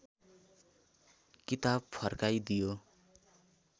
किताब फर्काइदियो